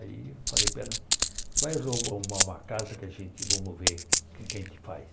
Aí eu falei, para ela, vai ro arrumar uma uma casa que a gente, vamos ver o que é que a gente faz.